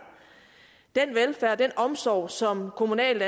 den velfærd og den omsorg som kommunalt